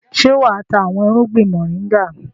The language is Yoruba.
Ṣé wà á ta àwọn irúgbìn mọ̀ríngà?